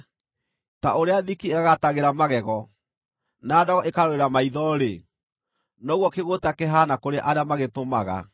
Ta ũrĩa thiki ĩgagatagĩra magego, na ndogo ĩkarũrĩra maitho-rĩ, noguo kĩgũũta kĩhaana kũrĩ arĩa magĩtũmaga.